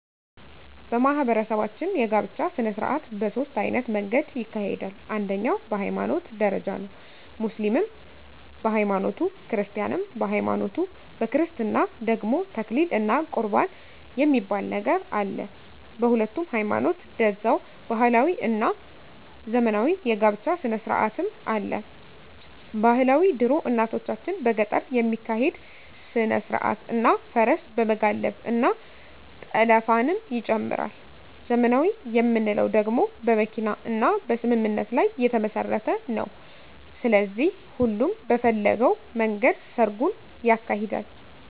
በማህበረሰባችን የጋብቻ ሰነስርአት በ ሶስት አይነት መንገድ ይካሄዳል አንደኛዉ በ ሀይማኖት ደረጃ ነዉ ሙስሊምም በ ሀይማኖቱ ክርስቲያንም በሀይማኖቱ በክርስትና ደግሞ ተክሊል እና ቁርባን የሚባል ነገር አለ በሁሉም ሀይማኖት ደዛዉ ባህላዊ እና ዘመናዊ የ ጋብቻ ስነስርአትም አለ ...ባህላዊ ድሮ እናቶቻችን በገጠር የሚካሄድ ስነስርአት እና ፈረስ በመጋለብ እና ጠለፍንም ይጨምራል .........ዘመናዊ የምንለዉ ደግሞ በመኪና እና በስምምነት ላይ የተመስረተ ነዉ ስለዚህ ሁሉም በፈለገዉ መንገድ ሰርጉን ያካሂዳል።